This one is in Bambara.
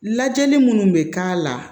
Lajɛli minnu bɛ k'a la